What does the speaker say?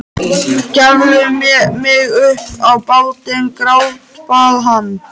Gefðu mig upp á bátinn, grátbað hann.